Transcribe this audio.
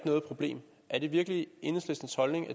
noget problem er det virkelig enhedslistens holdning at